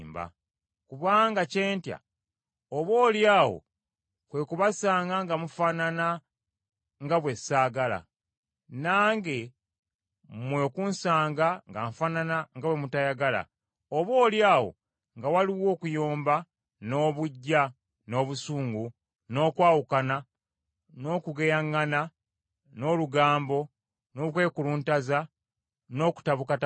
Kubanga kye ntya oboolyawo kwe kubasanga nga mufaanana nga bwe ssaagala, nange mmwe okunsanga nga nfaanana nga bwe mutayagala; oboolyawo nga waliwo okuyomba, n’obuggya, n’obusungu, n’okwawukana, n’okugeyaŋŋana, n’olugambo, n’okwekuluntaza, n’okutabukatabuka;